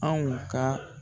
Anw ka